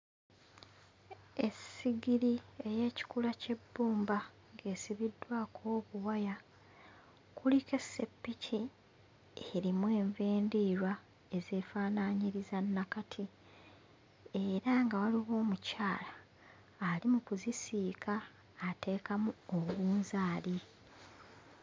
Essigiri ey'ekikula ky'ebbumba esibiddwako obuwaya, kuliko esseppiki eri enva endiirwa ezeefaanaanyiriza nnakati era nga waliwo omukyala ali mu kuzisiika ateekamu obunzaali.